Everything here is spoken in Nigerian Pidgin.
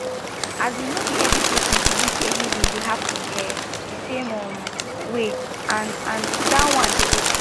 asin no be every patient believe say healing dey happen ehh di same um way and and that one dey okay